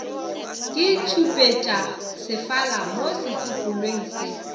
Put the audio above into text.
ke ditšhupetšasefala mo setsopolweng se